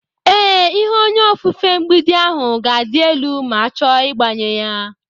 Ee, ihe onye ofufe mgbidi ahụ ga-adị elu m h cho igbanye ya.